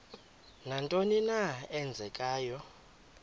nantoni na eenzekayo